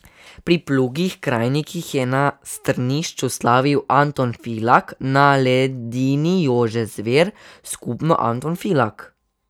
Pri plugih krajnikih je na strnišču slavil Anton Filak, na ledini Jože Zver, skupno Anton Filak.